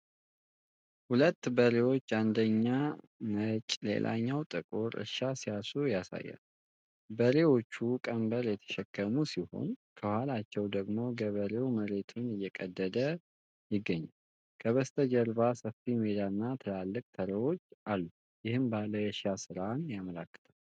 ሁለት በሬዎች (አንደኛው ነጭ፣ ሌላኛው ጥቁር) እርሻ ሲያርሱ ያሳያል። በሬዎቹ ቀንበር የተሸከሙ ሲሆን ከኋላቸው ደግሞ ገበሬው መሬቱን እየቀደደ ይገኛል። ከበስተጀርባው ሰፊ ሜዳ እና ትላልቅ ተራራዎች አሉ፤ ይህም ባህላዊ የእርሻ ሥራን ያመለክታል።